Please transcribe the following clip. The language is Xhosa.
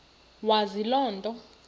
wazi loo nto